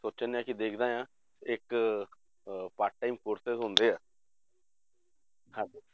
ਸੋਚਣ ਡਿਆ ਕਿ ਦੇਖਦਾ ਹਾਂ ਇੱਕ ਅਹ part time courses ਹੁੰਦੇ ਹੈ ਹਾਂਜੀ